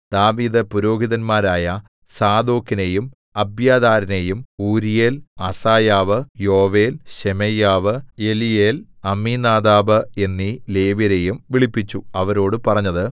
ദാവീദ് പുരോഹിതന്മാരായ സാദോക്കിനെയും അബ്യാഥാരിനെയും ഊരീയേൽ അസായാവ് യോവേൽ ശെമയ്യാവ് എലീയേൽ അമ്മീനാദാബ് എന്നീ ലേവ്യരെയും വിളിപ്പിച്ചു അവരോടു പറഞ്ഞത്